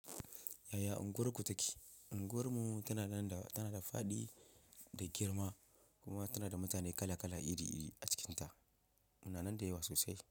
Yaya unguwarku take? Unguwarmu tana da, tana da fadi da girma kuma tana da mutane kala-kala, iri-iri a cikinta. Muna nan da yawa sosai.